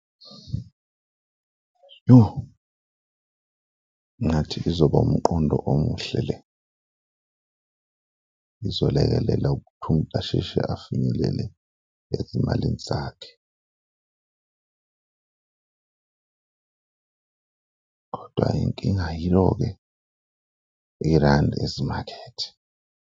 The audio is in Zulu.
Yoh! Ngathi izoba umqondo omuhle le. Izolekelela ukuthi umuntu asheshe afinyelele ezimalini zakhe kodwa inkinga yiyo-ke irandi ezimakhethe.